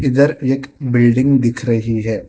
इधर एक बिल्डिंग दिख रही है।